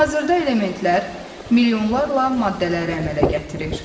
Hazırda elementlər milyonlarla maddələri əmələ gətirir.